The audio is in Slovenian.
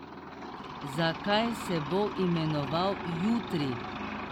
Zakaj se bo imenoval Jutri?